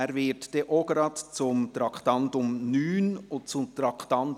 Er wird auch gleich zu den Traktanden 9 und 11 sprechen.